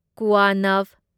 ꯀꯨꯋꯥꯅꯚ